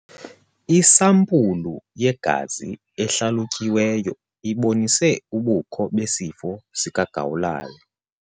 Isampulu yegazi ehlalutyiweyo ibonise ubukho besifo sikagawulayo.